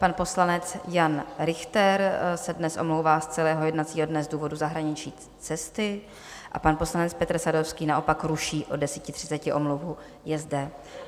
Pan poslanec Jan Richter se dnes omlouvá z celého jednacího dne z důvodu zahraniční cesty a pan poslanec Petr Sadovský naopak ruší od 10.30 omluvu, je zde.